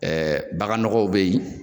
Ɛɛ bagan nɔgɔw be ye